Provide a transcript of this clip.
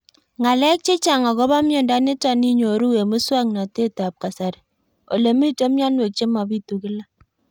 Ng'alek chechang' akopo miondo nitok inyoru eng' muswog'natet ab kasari ole mito mianwek che mapitu kila